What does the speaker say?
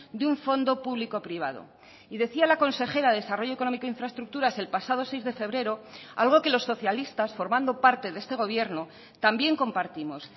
de un fondo público privado y decía la consejera de desarrollo económico e infraestructuras el pasado seis de febrero algo que los socialistas formando parte de este gobierno también compartimos